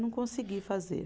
Não consegui fazer.